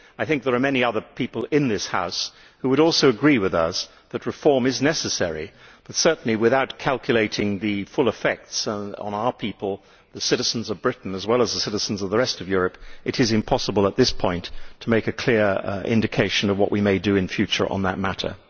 I think there are many other people in this House who would also agree with us that reform is necessary, but certainly without calculating the full effects on our people the citizens of Britain and well as the citizens of the rest of Europe it is impossible at this point to give a clear indication of what we may do in future on that matter.